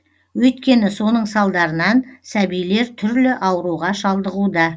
өйткені соның салдарынан сәбилер түрлі ауруға шалдығуда